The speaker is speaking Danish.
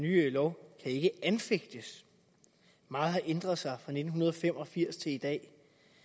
nye lov ikke kan anfægtes meget har ændret sig fra nitten fem og firs til i dag